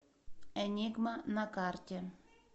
энигма на карте